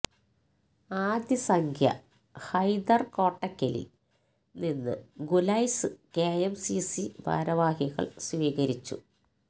ആദ്യ സംഖ്യ ഹൈദർ കോട്ടക്കലിൽ നിന്ന് Khulais K M C C ഭാരവാഹികൾ സ്വീകരിച്ചു